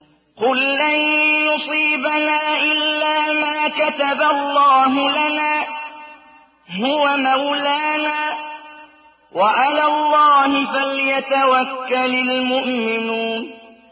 قُل لَّن يُصِيبَنَا إِلَّا مَا كَتَبَ اللَّهُ لَنَا هُوَ مَوْلَانَا ۚ وَعَلَى اللَّهِ فَلْيَتَوَكَّلِ الْمُؤْمِنُونَ